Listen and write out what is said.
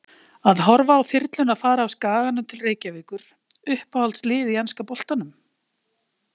Að horfa á þyrluna fara af Skaganum til Reykjavíkur Uppáhalds lið í enska boltanum?